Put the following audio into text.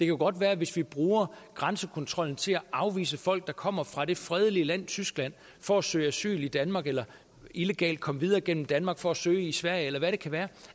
jo godt være at hvis vi bruger grænsekontrollen til at afvise folk der kommer fra det fredelige land tyskland for at søge asyl i danmark eller illegalt komme videre gennem danmark for at søge i sverige eller hvad det kan være